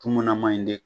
Kumuna man ɲi de